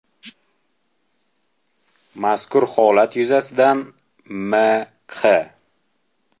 Mazkur holat yuzasidan M.Q.